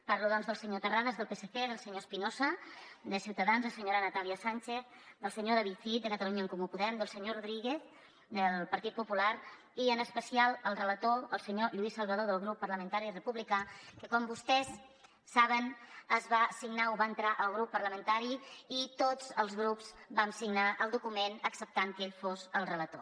parlo doncs del senyor terrades del psc del senyor espinosa de ciutadans la senyora natàlia sànchez del senyor david cid de catalunya en comú podem del senyor rodríguez del partit popular i en especial el relator el senyor lluís salvadó del grup parlamentari republicà que com vostès saben ho va entrar el grup parlamentari i tots els grups vam signar el document acceptant que ell fos el relator